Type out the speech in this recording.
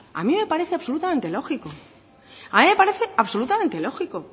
a mí me parece absolutamente lógico a mí me parece absolutamente lógico